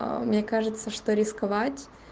мне кажется что рисковать